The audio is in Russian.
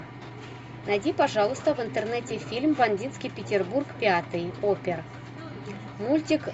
найди пожалуйста в интернете фильм бандитский петербург пятый опер мультик